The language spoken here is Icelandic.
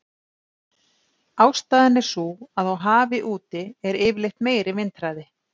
Ástæðan er sú að á hafi úti er yfirleitt meiri vindhraði.